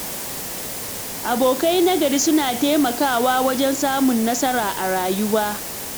Abokai na gari suna taimakawa wajen samun nasara a rayuwa.